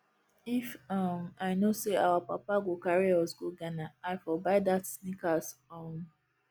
if um i know say our papa go carry us go ghana i for buy dat sneakers um